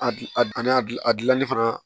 A gilan a gilan a gilanli fana